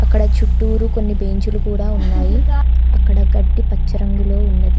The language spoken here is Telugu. ఇక్కడ చుట్టూరు కొన్ని బెంచీలు కూడా ఉన్నాయి అక్కడ గడ్డి పచ్చరంగులో ఉన్నది.